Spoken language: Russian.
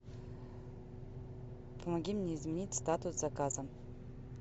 помоги мне изменить статус заказа